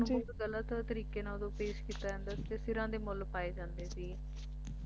ਕਿਉਂਕਿ ਸਿੱਖਾਂ ਨੂੰ ਬਹੁਤ ਗਲਤ ਤਰੀਕੇ ਨਾਲ ਉਦੋਂ ਪੇਸ਼ ਕੀਤਾ ਜਾਂਦਾ ਸੀ ਤੇ ਸਿਰਾਂ ਦੇ ਮੁੱਲ ਪਾਏ ਜਾਂਦੇ ਸੀ ਹਾਂ ਜੀ ਤੇ